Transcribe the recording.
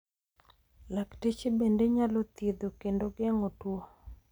lakteche bende nyalo thiedho kendo geng'o tuo